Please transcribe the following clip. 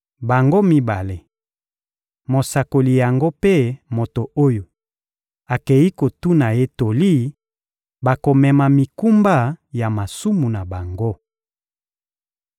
Bango mibale, mosakoli yango mpe moto oyo akei kotuna ye toli, bakomema mikumba ya masumu na bango.